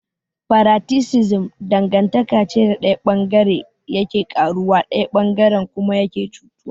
Paraticism dangantaka ce da bangare daya yake karuwa daya bangaren kuma yake cutuwa.